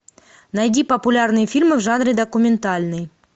найди популярные фильмы в жанре документальный